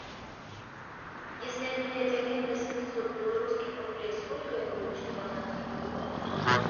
если обменять один восемьсот белорусских рублей сколько я получу канадских долларов